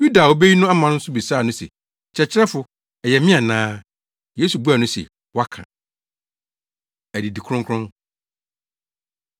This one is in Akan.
Yuda a obeyi no ama nso bisaa no se, “Kyerɛkyerɛfo, ɛyɛ me ana?” Yesu buaa no se, “Woaka.” Adidi Kronkron